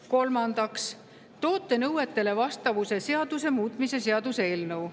Kolmandaks, toote nõuetele vastavuse seaduse muutmise seaduse eelnõu.